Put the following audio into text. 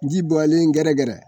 Ji bɔlen gɛrɛgɛrɛ